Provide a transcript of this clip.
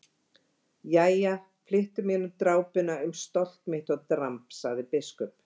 Jæja, flyttu mér nú drápuna um stolt mitt og dramb, sagði biskup.